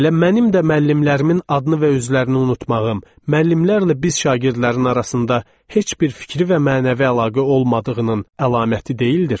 Elə mənim də müəllimlərimin adını və özlərini unutmağım, müəllimlərlə biz şagirdlərin arasında heç bir fikri və mənəvi əlaqə olmadığının əlaməti deyildirmi?